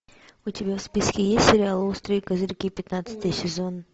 у тебя в списке есть сериал острые козырьки пятнадцатый сезон